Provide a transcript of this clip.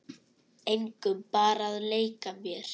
Engum, bara að leika mér